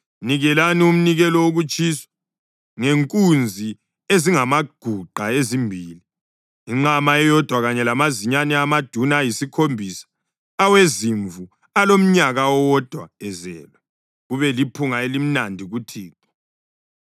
Nikelani umnikelo wokutshiswa ngenkunzi ezingamaguqa ezimbili, inqama eyodwa kanye lamazinyane amaduna ayisikhombisa awezimvu alomnyaka owodwa ezelwe kube liphunga elimnandi kuThixo.